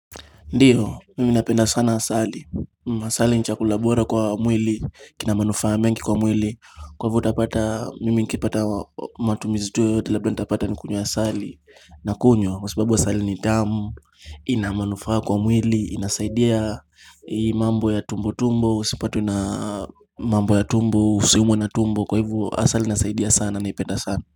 Ndiyo, mimi napenda sana asali, asali ni chakula bora kwa mwili, kina manufaa mengi kwa mwili, kwa hivo utapata, mimi nikipata matumizi tu yoyote labda nitapata nikunywe asali, nakunywa, kwa sababu asali ni damu, ina manufaa kwa mwili, inasaidia mambo ya tumbo tumbo, usipatwe na mambo ya tumbo, usiumwe na tumbo, kwa hivyo asali inasaidia sana naipenda sana.